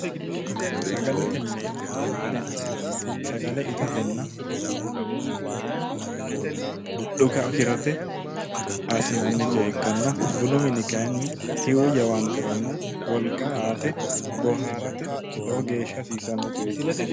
Sagalete mine yineemmohu sagale itatenna dhuka afirate assinanni coye ikkanna bunu mini kayinni tii'u jawaanteranna wolqa aate boohaarate lowo geesha hasiisanno coyeeti